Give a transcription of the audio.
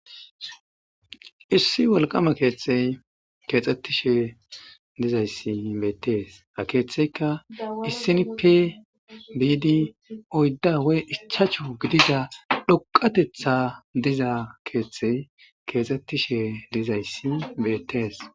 issi walqama keethtey keexxettishe dizayssi beettees akeeththeyka issinipi biidi oydda wey ichachu gidida dhoqatetha diza keeththey keexxettishe dizayssi beetees